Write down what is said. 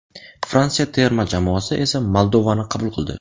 Fransiya terma jamoasi esa Moldovani qabul qildi.